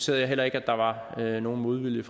jeg heller ikke der var nogen modvilje